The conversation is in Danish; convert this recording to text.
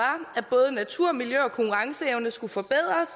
at både natur miljø og konkurrenceevne skulle forbedres